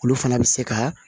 Olu fana bɛ se ka